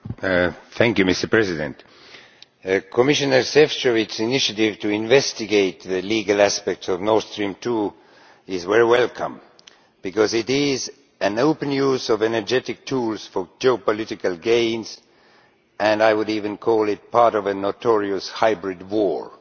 Mr President, Commissioner Šefčovič's initiative to investigate the legal aspect of Nord Stream II is very welcome because it is an open use of energy tools for geopolitical gain, and I would even call it part of a notorious hybrid war'.